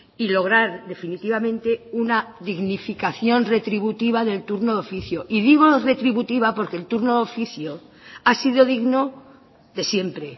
y lograr definitivamente una dignificación retributiva del turno de oficio y digo retributiva porque el turno de oficio ha sido digno de siempre